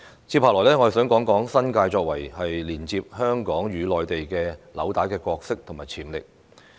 接下來，我想談談新界作為接連香港與內地紐帶的角色和潛力。